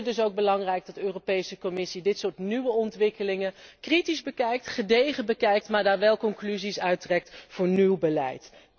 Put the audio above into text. Ik vind het dus ook belangrijk dat de Europese Commissie dit soort nieuwe ontwikkelingen kritisch en gedegen bekijkt, maar daar wel conclusies uit trekt voor nieuw beleid.